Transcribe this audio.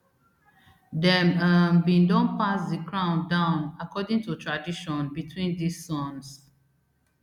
dem um bin don pass di crown down according to tradition between dis sons